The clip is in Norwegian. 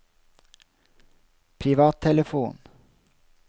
privattelefon